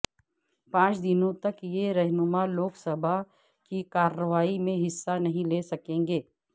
پانچ دنوں تک یہ رہنما لوک سبھا کی کارروائی میں حصہ نہیں لے سکیں گے